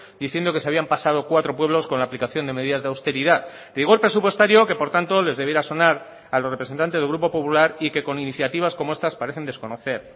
diciendo que se habían pasado cuatro pueblos con la aplicación de medidas de austeridad rigor presupuestario que por tanto les debiera sonar a los representantes del grupo popular y que con iniciativas como estas parecen desconocer